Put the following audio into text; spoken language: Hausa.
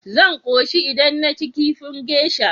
Zan koshi idan naci kifi geisha.